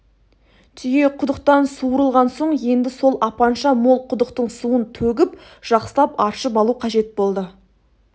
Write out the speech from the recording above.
түйе құдықтан суырылған соң енді сол апанша мол құдықтың суын төгіп жақсылап аршып алу қажет болды